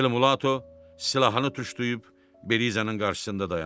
Ele Mulatto silahını tuşlayıb Belizanın qarşısında dayandı.